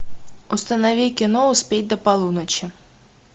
установи кино успеть до полуночи